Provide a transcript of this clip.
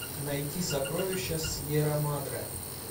найти сокровища сьерра мадре